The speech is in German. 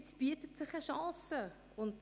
Jetzt bietet sich eine Gelegenheit.